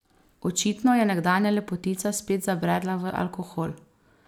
Očitno je nekdanja lepotica spet zabredla v alkohol.